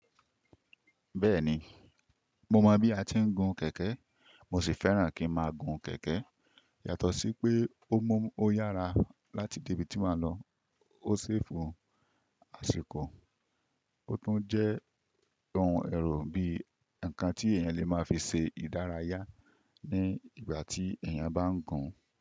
Bẹ́ẹ̀ni, mo mọ̀ bí a ti ń gun kẹ̀kẹ́, mó sì fẹ́ràn kí ń máa gun kẹ̀kẹ́. Yàtọ̀ sí pé ó mú ọ yára láti dé ibi tí máa lọ, ó safe àsìkò. Ó tún jẹ́ ohun ẹ̀rọ bí i ǹkan tí èèyàn lè máa fi ṣe ìdárayá ní ìgbà tí èèyàn bá ń gun.